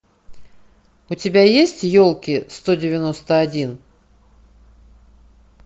у тебя есть елки сто девяносто один